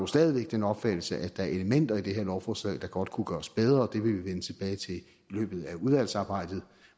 stadig væk den opfattelse at der er elementer i det her lovforslag der godt kunne gøres bedre det vil vi vende tilbage til i løbet af udvalgsarbejdet